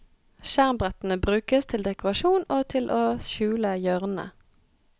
Skjermbrettene brukes til dekorasjon og til å skjule hjørnene.